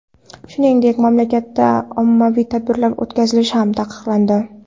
Shuningdek, mamlakatda ommaviy tadbirlar o‘tkazish ham taqiqlandi .